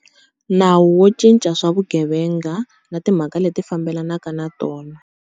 Nawu wo Cinca swa Vugevenga na Timhaka leti Fambelanaka na Tona.